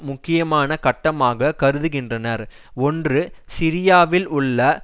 முக்கியமான கட்டமாக கருதுகின்றனர் ஒன்று சிரியாவில் உள்ள